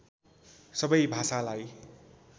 सबै भाषालाई